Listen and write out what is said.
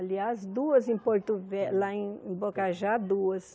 Aliás, duas em Porto Ve lá em em Bocajá, duas.